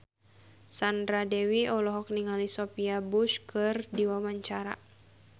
Sandra Dewi olohok ningali Sophia Bush keur diwawancara